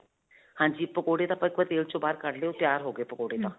ਹਾਂਜੀ. ਪਕੌੜੇ ਤਾਂ ਆਪਾਂ ਇਕ ਬਾਰੀ ਤੇਲ 'ਚੋਂ ਬਾਹਰ ਕੱਢ ਤਿਆਰ ਹੋ ਗਏ ਪਕੌੜੇ ਤਾਂ